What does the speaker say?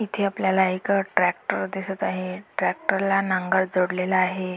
इथे आपल्याला एक ट्रॅक्टर दिसत आहे ट्रॅक्टरला नांगर जोडलेला आहे.